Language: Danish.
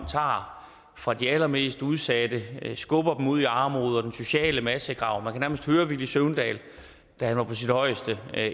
tager fra de allermest udsatte skubber dem ud i armod og i den sociale massegrav man kan nærmest høre villy søvndal da han var på sit højeste